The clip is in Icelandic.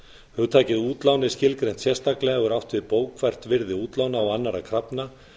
hugtakið útlán er skilgreint sérstaklega og er átt við bókfært virði útlána og annarra krafna